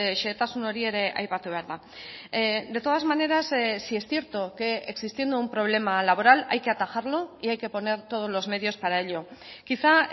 xehetasun hori ere aipatu behar da de todas maneras sí es cierto que existiendo un problema laboral hay que atajarlo y hay que poner todos los medios para ello quizá